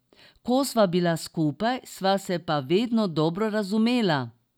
Ko sva bila skupaj, sva se pa vedno dobro razumela.